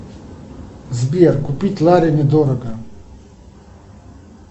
сбер купить лари недорого